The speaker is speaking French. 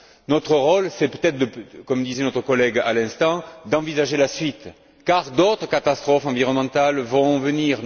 Notre rôle, c'est peut être, comme le disait notre collègue à l'instant, d'envisager la suite, car d'autres catastrophes environnementales vont venir.